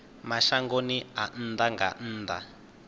mashangoni a nnḓa nga nnḓa